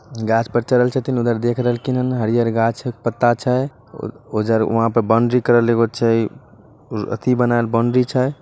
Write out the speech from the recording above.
गाछ पर चरहल छथीन उधर देख रहलखीन हरियर घांस छै पत्ता छै। उ-उधर वहाँ पे बाउंड्री करल एगो छै अथी बनायल बाउंड्री छै।